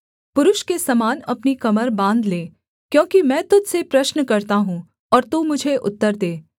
पुरुष के समान अपनी कमर बाँध ले क्योंकि मैं तुझ से प्रश्न करता हूँ और तू मुझे उत्तर दे